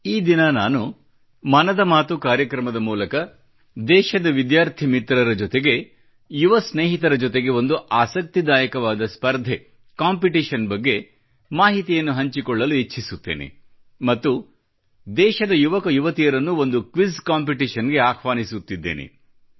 ಈ ದಿನ ನಾನು ಮನದ ಮಾತು ಕಾರ್ಯಕ್ರಮದ ಮೂಲಕ ದೇಶದ ವಿದ್ಯಾರ್ಥಿ ಮಿತ್ರರ ಜೊತೆಗೆ ಯುವ ಸ್ನೇಹಿತರ ಜೊತೆಗೆ ಒಂದು ಆಸಕ್ತಿದಾಯಕವಾದ ಸ್ಪರ್ಧೆ ಕಾಂಪಿಟಿಷನ್ ಬಗ್ಗೆ ಮಾಹಿತಿಯನ್ನು ಹಂಚಿಕೊಳ್ಳಲು ಇಚ್ಚಿಸುತ್ತೇನೆ ಮತ್ತು ದೇಶದ ಯುವಕ ಯುವತಿಯರನ್ನು ಒಂದು ಕ್ವಿಜ್ ಕಾಂಪಿಟಿಷನ್ ಗೆ ಆಹ್ವಾನಿಸುತ್ತಿದ್ದೇನೆ